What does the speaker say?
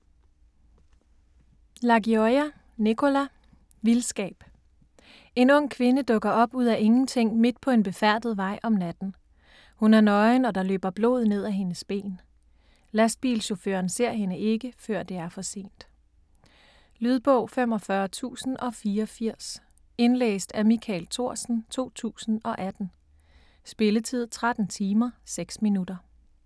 Lagioia, Nicola: Vildskab En ung kvinde dukker op ud af ingenting midt på en befærdet vej om natten. Hun er nøgen og der løber blod ned af hendes ben. Lastbilchaufføren ser hende ikke før det er for sent. Lydbog 45084 Indlæst af Michael Thorsen, 2018. Spilletid: 13 timer, 6 minutter.